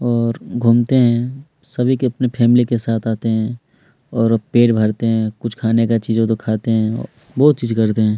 और घूमते है सभी के अपने फैमिली के साथ आते है और अ पेट भरते है कुछ खाने का चीज हो तो खाता है बोहोत चीज करते हैं।